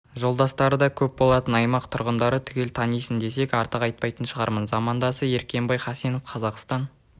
жолдастары да көп болатын аймақ тұрғындары түгел танитын десек артық айтпайтын шығармын замандасы ермекбай хасенов қазақстан